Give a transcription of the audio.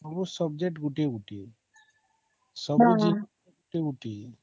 ସବୁ subject ଗୋଟିଏ ଗୋଟିଏ